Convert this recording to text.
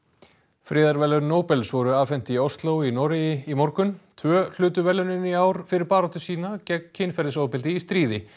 friðarverðlaun Nóbels voru afhent í Ósló í Noregi í morgun tvö hlutu verðlaunin í ár fyrir baráttu sína gegn kynferðisofbeldi í stríði